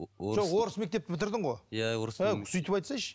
жоқ орыс мектепті бітірдің ғой ә сөйтіп айтсайшы